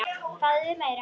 Fáðu þér meira!